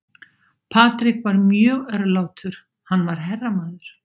Patrick var mjög örlátur, hann var herramaður.